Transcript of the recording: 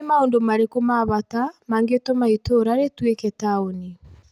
Nĩ maũndũ marĩkũ ma bata mangĩtũma itũra rĩtuĩke taũni?